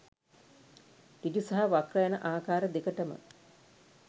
සෘජු සහ වක්‍ර යන ආකාර දෙකටම